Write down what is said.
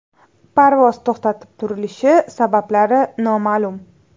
Parvoz to‘xtatib turilishi sabablari noma’lum.